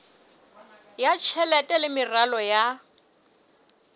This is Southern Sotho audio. ya tjhelete le meralo ya